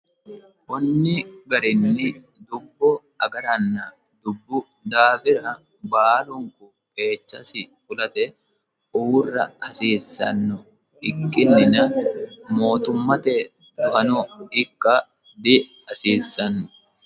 kunni garinni dubbu agaranna dubbu daafira baalunku qeechasi fulate uurra hasiissanno ikkinnina mootummate dohano ikka diasiissanno